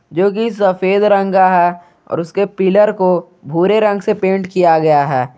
जोकी सफेद रंग का है और उसके पिलर को भूरे रंग से पेंट किया हुआ है।